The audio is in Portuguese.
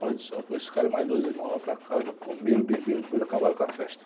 Pai do céu, foi esse cara e mais dois irmãos lá para casa, comeram, beberam e depois acabaram com a festa.